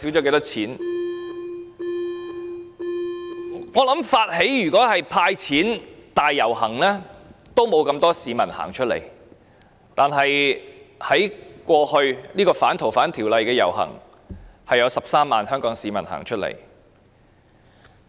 我想如果發起"派錢"大遊行，不會有那麼多市民走出來；但是，在剛過去的反修訂《逃犯條例》遊行，則有13萬名香港市民走出來。